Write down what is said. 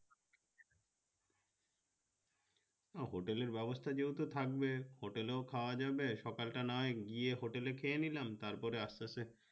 তো hotel ব্যবস্থা যেহেতু থাকবে hotel ও খাওয়া যাবে সকাল টা না হয় গিয়ে hotel খেয়ে নিলাম তারপরে আস্তে আস্তে